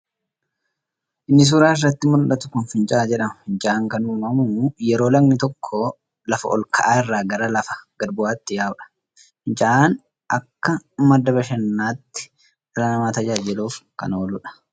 Inni suuraa irratti muldhatu kun fincaa'aa jedhama. Fincaa'aan kan uumamu yeroo lagni tokko lafa ol ka'aa irraa gara lafa gad bu'aatti yaa'uudha. Fincaa'aan akka madda bashannanatti dhala namaa tajaajiluuf kan ooluudha.